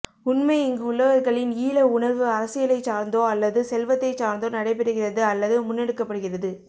உண்மை இங்குள்ளவர்களின் ஈழ உணர்வு அரசியலைச் சார்ந்தோ அல்லது செல்வத்தைச் சார்ந்தோ நடை பெறுகிறது அல்லது முன்னெடுக்கப்படுகிறது